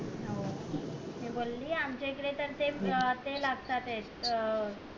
मी बोली आमच्या इथे तर ते लागत्यात ये अं